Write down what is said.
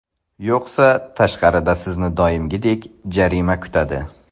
Yo‘qsa tashqarida sizni doimgidek jarima kutadi.